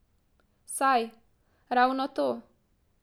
Saj, ravno to.